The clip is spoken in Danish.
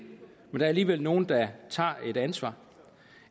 men der er alligevel nogle der tager et ansvar